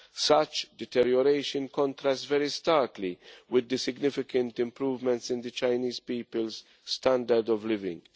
Such deterioration contrasts very starkly with the significant improvements in the Chinese people's standard of living.